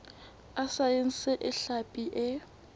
a saense a hlapi e